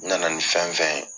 U nana ni fɛn fɛn ye